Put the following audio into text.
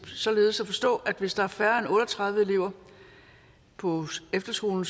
således at forstå at hvis der er færre end otte og tredive elever på efterskolen